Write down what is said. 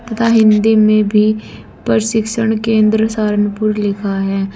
तथा हिंदी में भी प्रशिक्षण केंद्र सहारनपुर लिखा है।